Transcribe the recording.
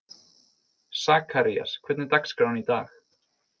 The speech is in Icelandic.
Sakarías, hvernig er dagskráin í dag?